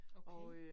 Okay